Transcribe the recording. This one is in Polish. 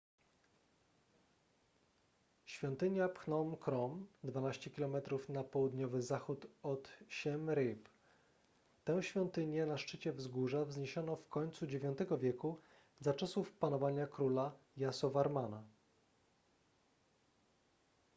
świątynia phnom krom 12 km na południowy zachód od siem reap tę świątynię na szczycie wzgórza wzniesiono w końcu ix wieku za czasów panowania króla yasovarmana